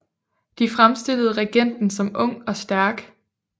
De fremstillede regenten som ung og stærk